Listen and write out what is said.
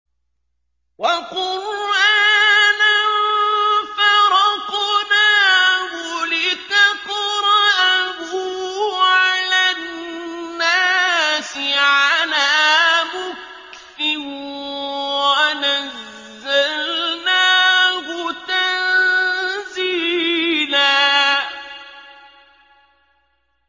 وَقُرْآنًا فَرَقْنَاهُ لِتَقْرَأَهُ عَلَى النَّاسِ عَلَىٰ مُكْثٍ وَنَزَّلْنَاهُ تَنزِيلًا